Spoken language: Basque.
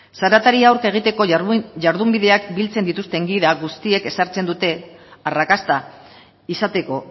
zaratari aurre egiteko jardunbideak biltzen dituzten gida guztiek ezartzen dute arrakasta izateko